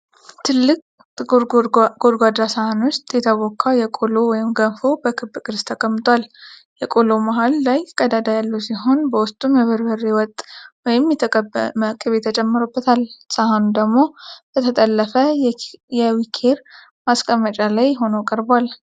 ትልቅ ጥቁር ጎድጓዳ ሳህን ውስጥ የተቦካ የቆሎ (ገንፎ) በክብ ቅርጽ ተቀምጧል። የቆሎው መሃል ላይ ቀዳዳ ያለው ሲሆን በውስጡም የበርበሬ ወጥ ወይም የተቀመመ ቅቤ ተጨምሮበታል። ሳህኑ ደግሞ በተጠለፈ የዊኬር ማስቀመጫ ላይ ሆኖ ቀርቧል።